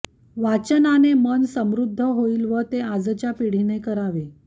वाचनाने मन समृद्ध होईल व ते आजच्या पिढीने करावे